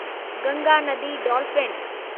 गंगा नदी डॉल्फ़िन